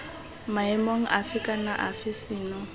maemong afe kana afe seno